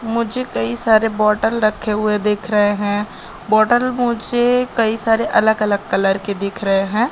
मुझे कई सारे बॉटल रखे हुए दिख रहे हैं बॉटल मुझे कई सारे अलग अलग कलर के दिख रहे हैं।